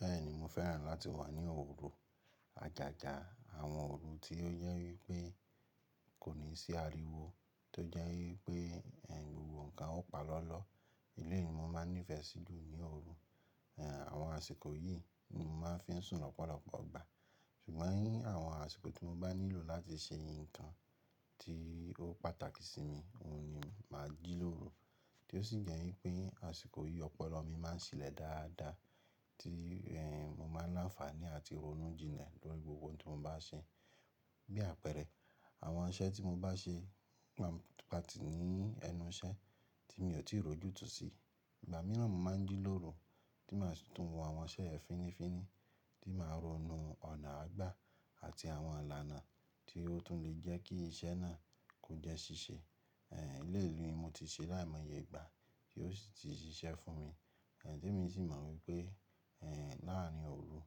Bẹ́ẹ̀ni mo fẹ́ràn láti wà ní òru, àjàjà àwọn òru tí ó jẹ wípé kò ní sí ariwo, tó jẹ́ wípé ẹ̀hn gbogbo nkan ó pa lọ́lọ́. Eléyìí ni mo máa nífẹ̀ẹ́ sì jú ní òru, àwọn àsìkò yìí ni mo máa ń fi sùn lọ́pọ̀lọpọ̀ ọgbà. Ṣùgbọ́n ní àwọn àsìkò tí mo bá nílò láti ṣe nǹkan tí ó pàtàkì sí mi, òun ni màá jí lóru, tí ó sì jẹ́ wípé àsìkò yìí ọpọlọ mi máa ń ṣilẹ̀ dáadáa tí mo máa láǹfààní àti ronú jinlẹ̀ lórí gbogbo ohun tí mo bá ṣe. Bí àpẹẹrẹ àwọn iṣẹ́ tí mo bá ṣe Pa ti ní ẹnu iṣẹ́ tí mi ò tíì ròjútòó sí, ìgbà mìíràn mo máa ń jí lóru tí màá tún wo àwọn iṣẹ́ ẹ́ fínnífínní tí màá ronú ọ̀nà àágbà àti àwọn ìlànà tí ó tún lè jẹ́ kí iṣẹ́ náà kò jẹ́ ṣíṣe. Ẹ̀ eléyìí ní mo ti ṣe láìmọye ìgbà tí ó sì ti ṣiṣẹ́ fún mi, t'emi sì mọ̀ wípé láàrin òru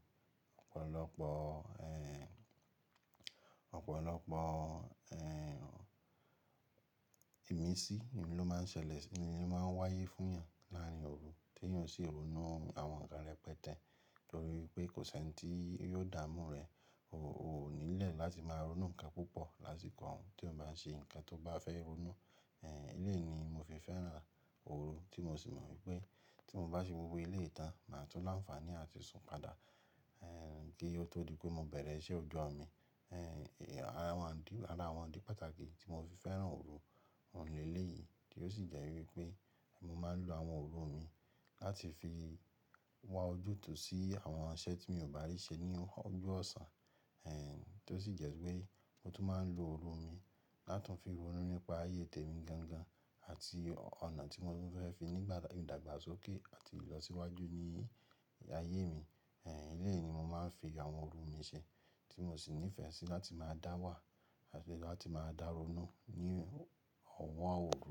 ọ̀pọ̀lọpọ̀ ìmísí ni ló máa ń ṣẹlẹ̀ sí mi, ni ló máa ń wáyé fún yàn láàrin òru tí yàn sì ronú àwọn nǹkan rẹ̀ pẹtẹ̀ torí pé kò sí ẹni tí yóò dààmú rẹ̀. O ò nílẹ̀ láti máa ronú nǹkan púpọ̀ lásìkò òun tí òun bá ṣe nǹkan tó bá fẹ́ ronú. Eléyìí ni mo fi fẹ́ràn òru tí mo sì mọ̀ wípé tí mo bá ṣe gbogbo ilé ìtàn màá tún láǹfààní àti sùn padà kí ó tó di pé mo bẹ̀rẹ̀ iṣẹ́ òjó mi. Àwọn ìdí, ara àwọn ìdí pàtàkì tí mo fi fẹ́ràn òru òun ni eléyìí tí ó sì jẹ́ wípé mo máa ń lo àwọn òru mi láti fi wá ojútùú sí àwọn iṣẹ́ tí mi ò bá rí ṣẹ ní ọjọ́ ọ̀sán, tí ó sì jẹ́ wípé mo tún máa ń lo òru mi láti fi ronú nípa ayé tẹ̀mí gangan àti ọ̀nà tí mo fẹ́ fi nígbà ìdàgbàsókè àti ìlọsíwájú ní ayé mi. Ẹ̀nìyí ni mo máa ń fi àwọn òru mi ṣẹ, tí mo sì nífẹ̀ẹ́ sí láti máa dá wà àti láti máa daronú ní àwọn òru.